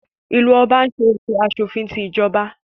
Ìlú Ọba ń ṣe ètò aṣòfin tí ìjọba